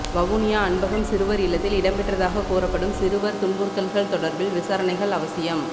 வவுனியா அன்பகம் சிறுவர் இல்லத்தில் இடம்பெற்றதாக கூறப்படும் சிறுவர் துன்புறுத்தல்கள் தொடர்பில் விசாரணைகள் அவசியம்